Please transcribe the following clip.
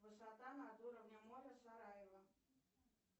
высота над уровнем моря сараево